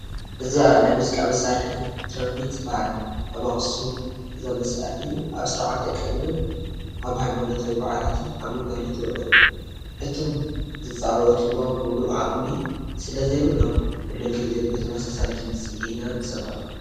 እዛ ናይ ሙዚቃ መሳርሒ ትራምፔት ትበሃል፡፡ ኣብ ኣኽሱም እዛ መሳርሒ ኣብ ስርዓተ ቀብርን ኣብ ሃይማኖታዊ በዓላትን ኣብ ግልጋሎት ትውዕል፡፡ እቶም ዝፃወትዋ ሙሉእ ዓቕሚ ስለዘይብሎም ኩሉ ግዜ ብተመሳሳሊ ድምፂ ኢና ንሰምዓ፡፡